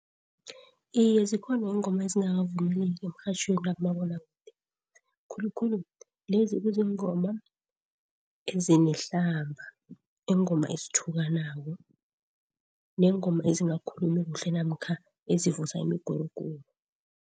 Iye, zikhona iingoma ezingakavumeleki emrhatjhweni nakumabonwakude, khulukhulu lezi ekuziingoma ezinehlamba, iingoma ezithukanako neengoma ezingakhulumi kuhle namkha ezivusa imiguruguru.